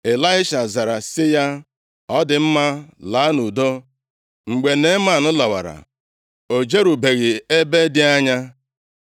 Ịlaisha zara sị ya, “Ọ dị mma, laa nʼudo.” Mgbe Neeman lawara, o jerubeghị ebe dị anya,